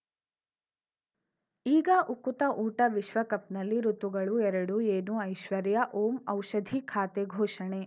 ಈಗ ಉಕುತ ಊಟ ವಿಶ್ವಕಪ್‌ನಲ್ಲಿ ಋತುಗಳು ಎರಡು ಏನು ಐಶ್ವರ್ಯಾ ಓಂ ಔಷಧಿ ಖಾತೆ ಘೋಷಣೆ